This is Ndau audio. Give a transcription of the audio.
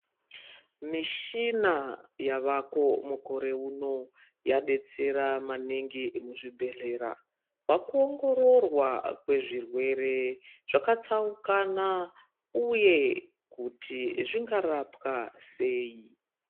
Mishina yavako mukore uno yadetsera maningi muzvibhedhlera. Paku wongororwa kwezwirwere zvakatsaukana, uye kuti zvingarapwa sei.